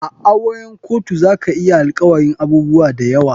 A auren kotu zakayi alkawarin abubuwa dayawa.